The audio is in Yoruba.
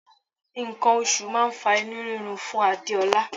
Nǹkan oṣù máà ń fa inú rírun fún Adéọlá.